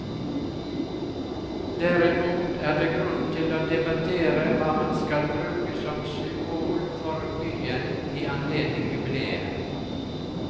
Derimot er det grunn til å debattere hva man skal bruke som symbol for byen i anledning jubileet.